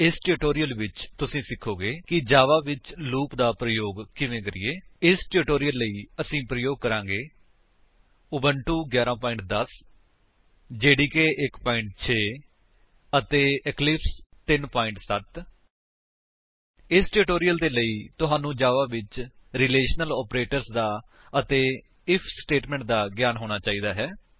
ਇਸ ਟਿਊਟੋਰਿਅਲ ਵਿੱਚ ਤੁਸੀ ਸਿਖੋਗੇ ਕਿ ਜਾਵਾ ਵਿੱਚ ਫੋਰ ਲੂਪ ਦਾ ਪ੍ਰਯੋਗ ਕਿਵੇਂ ਕਰੀਏ 160 ਇਸ ਟਿਊਟੋਰਿਅਲ ਲਈ ਅਸੀ ਪ੍ਰਯੋਗ ਕਰਾਂਗੇ ਉਬੁੰਟੂ 11 10 ਜੇਡੀਕੇ 1 6 ਅਤੇ ਇਕਲਿਪਸ 3 7 0 ਇਸ ਟਿਊਟੋਰਿਅਲ ਦੇ ਲਈ ਤੁਹਾਨੂੰ ਜਾਵਾ ਵਿੱਚ ਰਿਲੇਸ਼ਨਲ ਆਪਰੇਟਰਸ ਅਤੇ ਆਈਐਫ ਸਟੇਟਮੈਂਟ ਦਾ ਗਿਆਨ ਹੋਣਾ ਚਾਹੀਦਾ ਹੈ